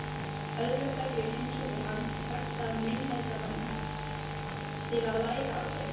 Öðruhverju heimsótti hann þekkta meinlætamenn til að læra af þeim.